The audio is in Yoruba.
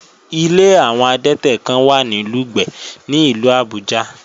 Ilé àwọn adẹ́tẹ̀ kán wà ní Lùgbẹ̀ ní ìlú Àbújá